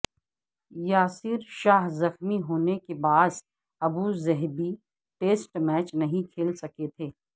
یاسر شاہ زخمی ہونے کے باعث ابوظہبی ٹیسٹ میچ نہیں کھیل سکے تھے